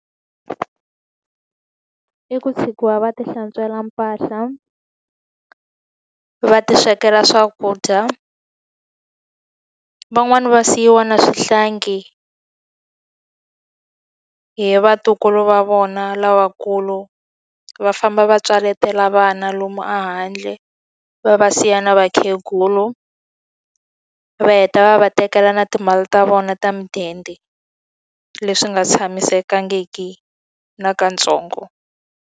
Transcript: I ku tshikiwa va ti hlantswela mpahla, va ti swekela swakudya. Van'wani va siyiwa na swihlangi hi vatukulu va vona lavakulu. Va famba va tswaletela vana lomu ehandle, va va siya na vakhegula. Va heta va va tekela na timali ta vona ta mudende, leswi nga tshamisekangiki nakantsongo.